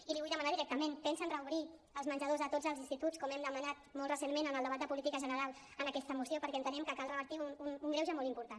i li vull demanar directament pensen reobrir els menjadors a tots els instituts com hem demanat molt recentment en el debat de política general en aquesta moció perquè entenem que cal revertir un greuge molt important